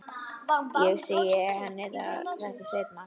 Ég segi henni þetta seinna.